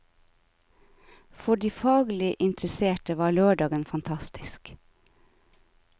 For de faglig interesserte var lørdagen fantastisk.